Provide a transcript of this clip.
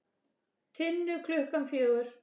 Tinnu klukkan fjögur.